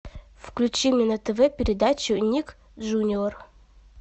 включи мне на тв передачу ник джуниор